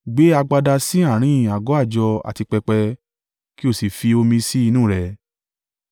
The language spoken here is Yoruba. gbé agbada sí àárín àgọ́ àjọ àti pẹpẹ, kí o sì fi omi sí inú rẹ̀.